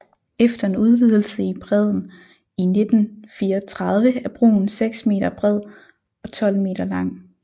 Efter en udvidelse i bredden i 1934 er broen seks meter bred og 12 meter lang